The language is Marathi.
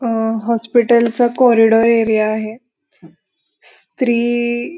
अ हॉस्पिटल चा कॉरीडोर एरिया आहे स्री --